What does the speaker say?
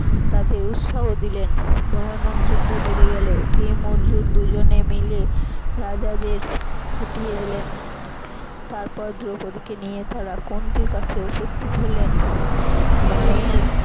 তাদের উৎসাহ দিলেন ভয়ানক যুদ্ধ বেধে গেল ভীম অর্জুন দুজনে মিলে রাজাদের হটিয়ে দিলেন তারপর দ্রৌপদিকে নিয়ে তারা কুন্তির কাছে উপস্থিত হলেন মায়ের